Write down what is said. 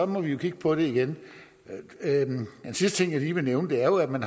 må vi jo kigge på det igen en sidste ting jeg lige vil nævne er at man